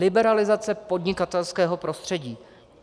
Liberalizace podnikatelského prostředí.